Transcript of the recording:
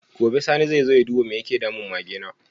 Gobe sani zai zo ya duba me yake damun Mage na?